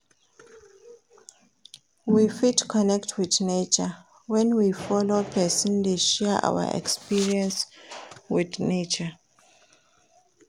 We fit connect with nature when we follow persin de share our experience with nature